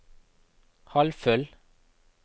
halvfull